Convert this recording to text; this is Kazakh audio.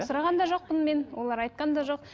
сұраған да жоқпын мен олар айтқан да жоқ